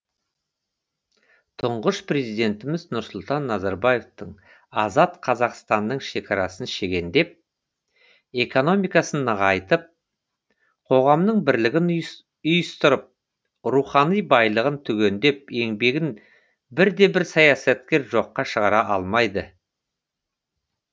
тұңғыш президентіміз нұрсұлтан назарбаевтың азат қазақстанның шекарасын шегендеп экономикасын нығайтып қоғамның бірлігін ұйыстырып рухани байлығын түгендеген еңбегін бірде бір саясаткер жоққа шығара алмайды